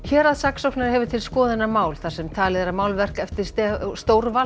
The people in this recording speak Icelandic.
héraðssaksóknari hefur til skoðunar mál þar sem talið er að málverk eftir